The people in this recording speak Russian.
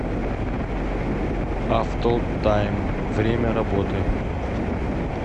автотайм время работы